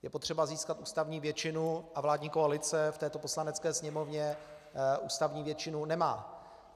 Je potřeba získat ústavní většinu, a vládní koalice v této Poslanecké sněmovně ústavní většinu nemá.